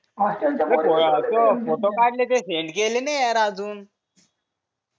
photo काढले ते send केले नाही यार अजून